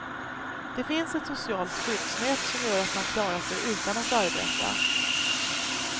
Det finns ett socialt skyddsnät som gör att man klarar sig utan att arbeta.